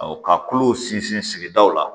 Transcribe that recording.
ka kulow sinsin sigidaw la